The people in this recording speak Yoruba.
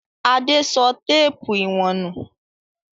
Adé sọ téépù ìwọ̀n nù?